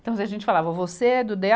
Então a gente falava, você é do DêA